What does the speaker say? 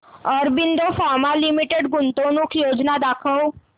Aurobindo Pharma Limited गुंतवणूक योजना दाखव